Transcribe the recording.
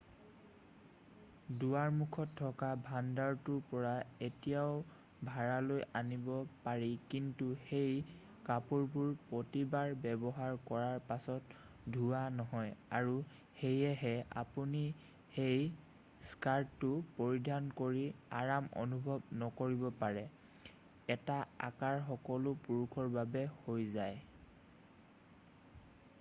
দুৱাৰমুখত থকা ভাণ্ডাৰটোৰ পৰা এয়াও ভাড়ালৈ আনিব পাৰি কিন্তু সেই কাপোৰবোৰ প্ৰতিবাৰ ব্যৱহাৰ কৰাৰ পাছত ধোৱা নহয় আৰু সেয়েহে আপুনি সেই স্কাৰ্টটো পৰিধাৰন কৰি আৰাম অনুভৱ নকৰিব পাৰে এটা আকাৰ সকলো পুৰুষৰ বাবে হৈ যায়